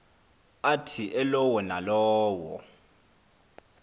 athi elowo nalowo